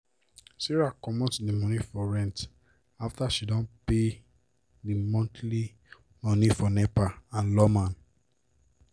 sarah comot d moni for rent after she don pay d monthly moni for nepa and lawma.